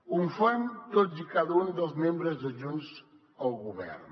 ho fan tots i cada un dels membres de junts el govern